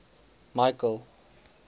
michael